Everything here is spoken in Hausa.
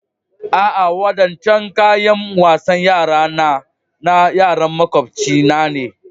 A'a, waɗancan kayan wasan yara nà yaran maƙwabcina ne.